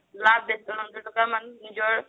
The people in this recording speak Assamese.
লাভ বেচি নিজৰ